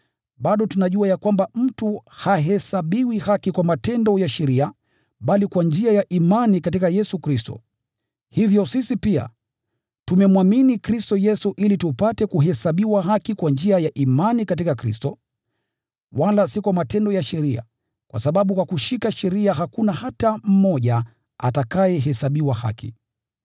bado tunajua ya kwamba mtu hahesabiwi haki kwa matendo ya sheria bali kwa njia ya imani katika Yesu Kristo. Hivyo sisi pia, tumemwamini Kristo Yesu ili tupate kuhesabiwa haki kwa njia ya imani katika Kristo, wala si kwa matendo ya sheria, kwa sababu kwa kushika sheria hakuna hata mtu mmoja atakayehesabiwa haki.